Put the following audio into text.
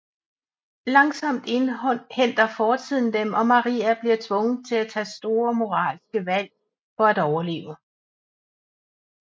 Langsomt indhenter fortiden dem og Maria bliver tvunget til at tage store moralske valg for at overleve